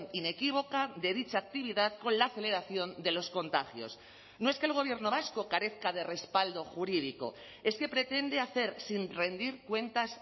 inequívoca de dicha actividad con la aceleración de los contagios no es que el gobierno vasco carezca de respaldo jurídico es que pretende hacer sin rendir cuentas